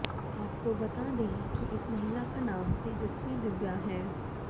आपको बता दें कि इस महिला का नाम तेजस्वनी दिव्या है